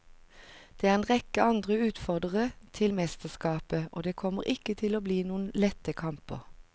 Det er en rekke andre utfordrere til mesterskapet, og det kommer ikke til å bli noen lette kamper.